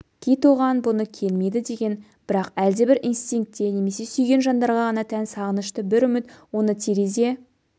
кит оған бұны келмейді деген бірақ әлдебір инстинкте немесе сүйген жандарға ғана тән сағынышты бір үміт оны терезе